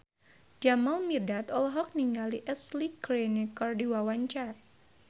Jamal Mirdad olohok ningali Ashley Greene keur diwawancara